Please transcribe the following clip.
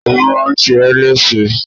Agbọ́n má a ṣe ẹ́ lẹ́ṣe.